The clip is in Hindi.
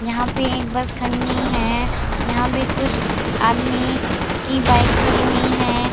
यहाँ पे एक बस खड़ी हुई है यहाँ पे कुछ आदमी की बाइक खड़ी हुई है।